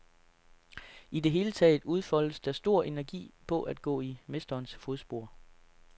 I det hele taget udfoldes der stor energi på at gå i mesterens fodspor.